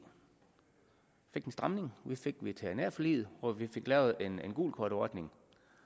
fik en stramning vi fik veterinærforliget hvor vi fik lavet en gult kort ordning